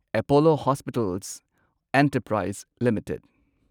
Apollo Hospitals Enterprise limited